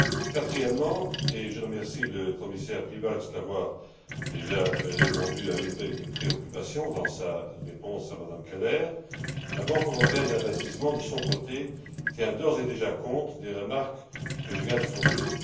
Quatrièmement, et je remercie le commissaire Piebalgs d'avoir déjà répondu à une de mes préoccupations dans sa réponse à Mme Keller, la Banque européenne d'investissement, de son côté, tient d'ores et déjà compte des remarques que je viens de formuler.